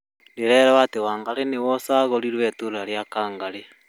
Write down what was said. Ndĩrerirwo atĩ wangarĩ nĩwe ũcagũrirwo itũra rĩa kangarĩ